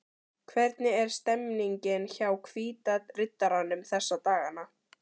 Hvernig er stemningin hjá Hvíta riddaranum þessa dagana?